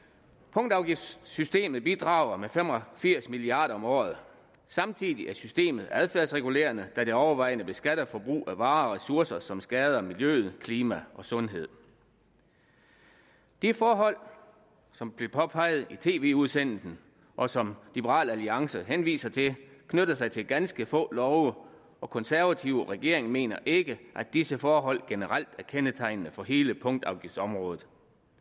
punktafgiftssystemet bidrager med fem og firs milliard kroner om året samtidig er systemet adfærdsregulerende da det overvejende beskatter forbrug af varer og ressourcer som skader miljø klima og sundhed de forhold som blev påpeget i tv udsendelsen og som liberal alliance henviser til knytter sig til ganske få love og konservative og regeringen mener ikke at disse forhold generelt er kendetegnende for hele punktafgiftområdet